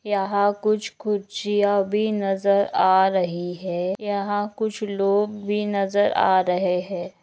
यहां कुछ-कुछ यह भी नजर आ रही है यहां कुछ लोग भी नजर आ रहे है।